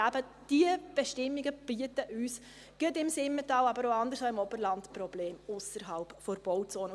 Diese Bestimmungen bereiten uns eben gerade im Simmental, aber auch im Oberland Probleme ausserhalb der Bauzone.